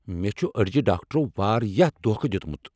مےٚ چُھ أڈجہِ ڈاکٹرو وارِیاہ دوکھہٕ دیُتمُت۔